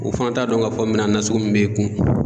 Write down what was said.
U fana t'a dɔn k'a fɔ minan nasugu min b'e kun.